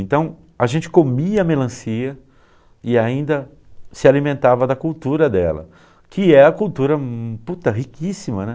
Então, a gente comia melancia e ainda se alimentava da cultura dela, que é a cultura, puta, riquíssima, né.